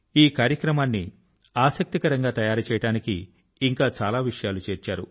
ఈ కార్యక్ మాన్ని ఆసక్తికరం గా తయారు చేయడానికి ఇంకా చాలా విషయాలు చేర్చారు